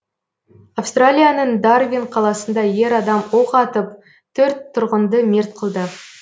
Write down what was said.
австралияның дарвин қаласында ер адам оқ атып төрт тұрғынды мерт қылды